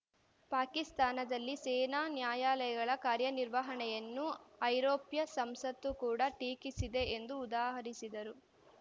ಪಾಕಿಸ್ತಾನದಲ್ಲಿ ಸೇನಾ ನ್ಯಾಯಾಲಯಗಳ ಕಾರ್ಯನಿರ್ವಹಣೆಯನ್ನು ಐರೋಪ್ಯ ಸಂಸತ್ತು ಕೂಡ ಟೀಕಿಸಿದೆ ಎಂದು ಉದಾಹರಿಸಿದರು